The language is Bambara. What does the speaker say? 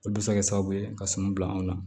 Olu bɛ se ka kɛ sababu ye ka suman bila anw na